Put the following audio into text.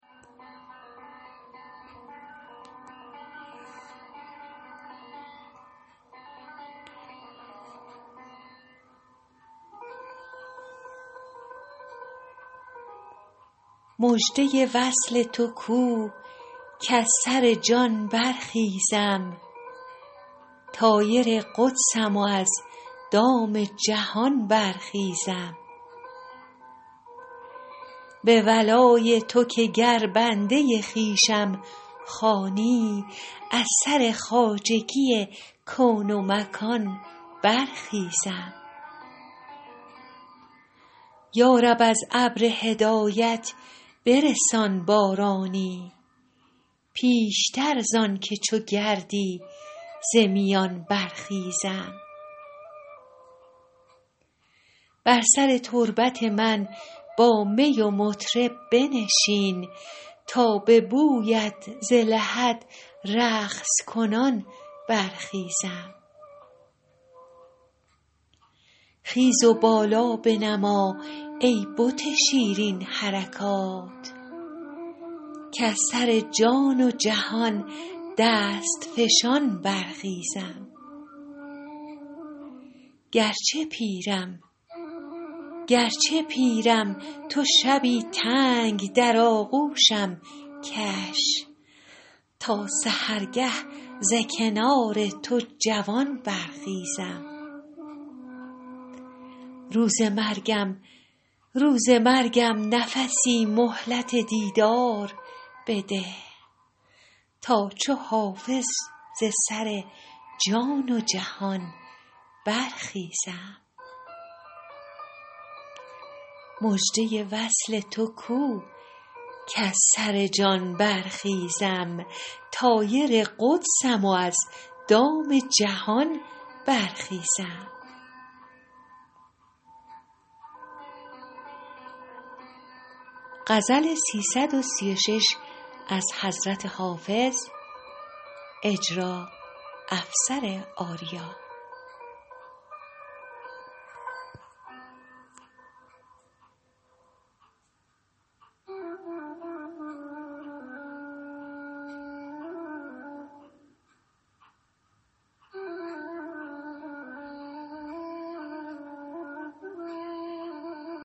مژده وصل تو کو کز سر جان برخیزم طایر قدسم و از دام جهان برخیزم به ولای تو که گر بنده خویشم خوانی از سر خواجگی کون و مکان برخیزم یا رب از ابر هدایت برسان بارانی پیشتر زان که چو گردی ز میان برخیزم بر سر تربت من با می و مطرب بنشین تا به بویت ز لحد رقص کنان برخیزم خیز و بالا بنما ای بت شیرین حرکات کز سر جان و جهان دست فشان برخیزم گرچه پیرم تو شبی تنگ در آغوشم کش تا سحرگه ز کنار تو جوان برخیزم روز مرگم نفسی مهلت دیدار بده تا چو حافظ ز سر جان و جهان برخیزم